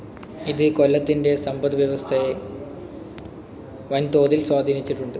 ഇത് കൊല്ലത്തിൻ്റെ സമ്പദ് വ്യവസ്ഥയെ വൻതോതിൽ സ്വാധീനിച്ചിട്ടുണ്ട്.